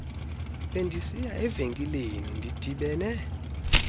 bendisiya evenkileni ndidibene